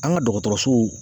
An ka dɔgɔtɔrɔsow